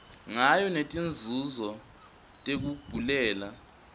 ngayo netinzunzo tekugulela